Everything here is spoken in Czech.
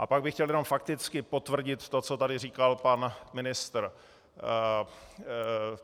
A pak bych chtěl jenom fakticky potvrdit to, co tady říkal pan ministr.